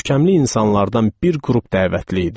Görkəmli insanlardan bir qrup dəvətli idi.